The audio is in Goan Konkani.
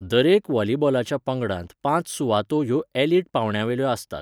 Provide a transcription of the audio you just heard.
दरेका व्हॉलिबॉलाच्या पंगडांत पांच सुवातो ह्यो एलिट पावंड्यावेल्यो आसतात.